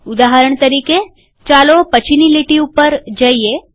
ઉદાહરણ તરીકે ચાલો પછીની લીટી પર જઈએ